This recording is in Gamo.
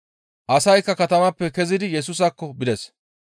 Asaykka katamaappe kezidi Yesusaakko bides.